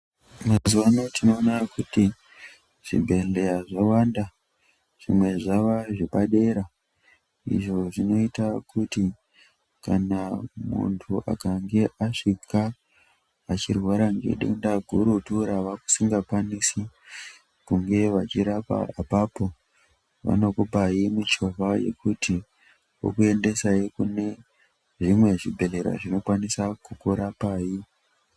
Mazuwa ano tinoona kuti zvibhedhleya zvawanda. Zvimwe zvava zvapadera izvo zvinoita kuti kana muntu akange asvika achirwara nedenda gurutu ravasingakwanisi kunge vachikurapa apapo vanokupai mishonga yekuti vanokuendesai kune chimwe chibhedhlera chinokwanisa kukurapai.